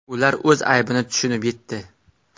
Ular o‘z aybini tushunib yetdi.